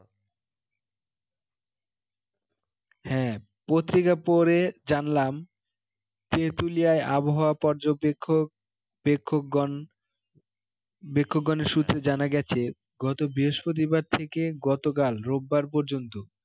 হ্যাঁ পত্রিকা পড়ে জানলাম তেঁতুলিয়ায় আবহাওয়া পর্যবেক্ষকগণ পর্যবেক্ষকগণের সূত্রে জানা গেছে গত বৃহস্পতিবার থেকে গতকাল রোববার পর্যন্ত